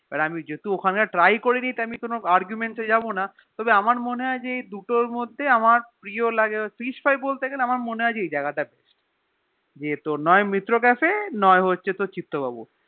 আর আমি জেহে টু ওখানের তা Try করিনি তাই আমি কোনো Arguement করবোনা তও আমার মনেহয় যে এই দুটোর মোফাধে আমার প্রিয় লাগে হচ্ছে Fish fry বলতে গেলে আমার মনেহয় এই জাগা তা যে নিয়ে মিত্র কাফে নয় তোর চিত্ত বাবু